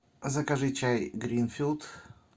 закажи чай гринфилд